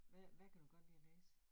Hvad hvad kan du godt lide at læse?